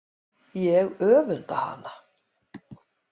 Ég öfunda hana.